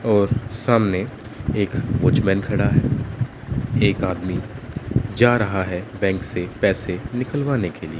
और सामने एक वॉचमैन खड़ा है एक आदमी जा रहा है बैंक से पैसे निकलवाने के लिए--